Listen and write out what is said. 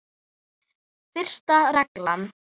Fyrsta reglan.